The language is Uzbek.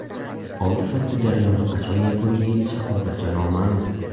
Oldi-sotdi jarayoni qachon yakuniga yetishi hozircha noma’lum.